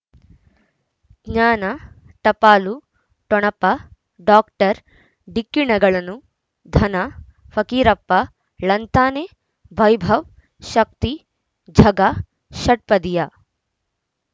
ಜ್ಞಾನ ಟಪಾಲು ಠೊಣಪ ಡಾಕ್ಟರ್ ಢಿಕ್ಕಿ ಣಗಳನು ಧನ ಫಕೀರಪ್ಪ ಳಂತಾನೆ ವೈಭವ್ ಶಕ್ತಿ ಝಗಾ ಷಟ್ಪದಿಯ